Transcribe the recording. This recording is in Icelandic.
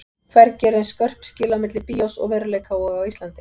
Hvergi eru eins skörp skil á milli bíós og veruleika og á Íslandi.